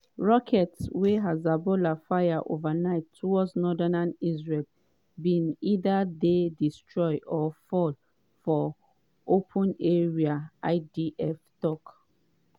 rockets wey hezbollah fire overnight towards northern israel bin either dey destroyed or fall for open areas idf tok.